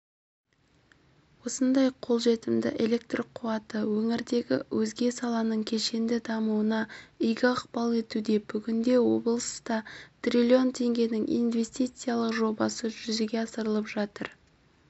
осындай қолжетімді электр қуаты өңірдегі өзге саланың кешенді дамуына игі ықпал етуде бүгінде облыста триллион теңгенің инвестициялық жобасы жүзеге асырылып жатыр